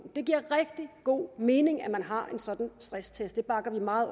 det giver rigtig god mening at man har en sådan stresstest det bakker vi meget